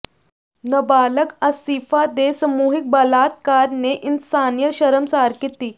ਨਬਾਲਗ ਆਸਿਫ਼ਾ ਦੇ ਸਮੂਹਿਕ ਬਲਾਤਕਾਰ ਨੇ ਇਨਸਾਨੀਅਤ ਸ਼ਰਮਸ਼ਾਰ ਕੀਤੀ